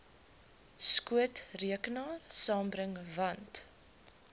skootrekenaar saambring want